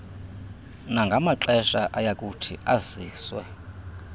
nangamaxesha ayakuthi aziswe